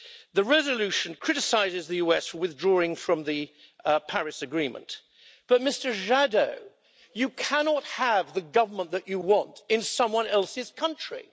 The resolution criticises the USA for withdrawing from the Paris Agreement but, Mr Jadot, you cannot have the government that you want in someone else's country.